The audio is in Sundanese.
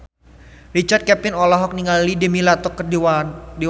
Richard Kevin olohok ningali Demi Lovato keur diwawancara